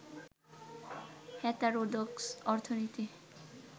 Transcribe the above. heterodox অর্থনীতি